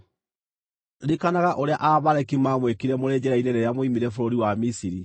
Ririkanaga ũrĩa Aamaleki maamwĩkire mũrĩ njĩra-inĩ rĩrĩa mwoimire bũrũri wa Misiri.